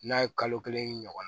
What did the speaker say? N'a ye kalo kelen ɲɔgɔn